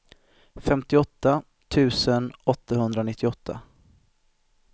femtioåtta tusen åttahundranittioåtta